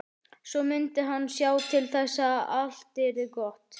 Svo mundi hann sjá til þess að allt yrði gott.